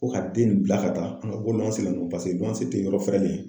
Ko ka den nin bila ka taa ko ko paseke ko te yɔrɔ fɛrɛlen ye.